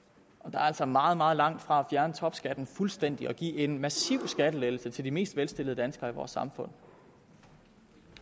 er altså meget meget langt fra at fjerne topskatten fuldstændig og give en massiv skattelettelse til de mest velstillede danskere i vores samfund